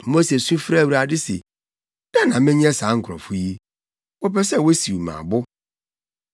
Mose su frɛɛ Awurade se, “Dɛn na menyɛ saa nkurɔfo yi? Wɔpɛ sɛ wosiw me abo.”